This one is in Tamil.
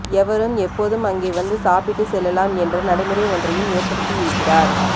எவரும் எப்போதும் அங்கே வந்து சாப்பிட்டு செல்லலாம் என்ற நடைமுறை ஒன்றையும் ஏற்படுத்தியிருக்கிறார்